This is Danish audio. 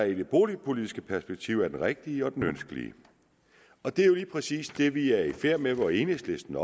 i det boligpolitiske perspektiv er den rigtige og den ønskelige det er jo lige præcis det vi er i færd med hvor enhedslisten